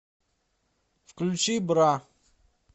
включи бра